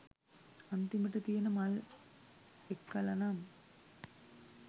අන්තිමට තියන මල් එක්කලනම්